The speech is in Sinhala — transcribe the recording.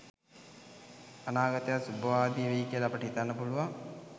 අනාගතයත් සුබවාදී වෙයි කියලා අපට හිතන්න පුළුවන්.